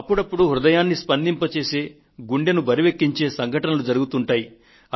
అప్పుడప్పుడు హృదయాన్ని స్పందింపచేసే గుండెను బరువెక్కించే సంఘటనలు జరుగుతుంటాయి